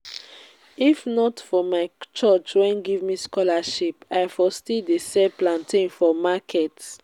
if not for my church wey give me scholarship i for still dey sell plantain for market